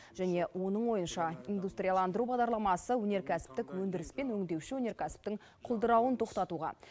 және оның ойынша индустрияландыру бағдарламасы өнеркәсіптік өндіріс пен өңдеуші өнеркәсіптің құлдырауын тоқтатуға